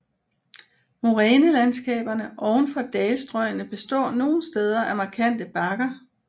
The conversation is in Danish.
Morænelandskaberne oven for dalstrøgene består nogle steder af markante bakker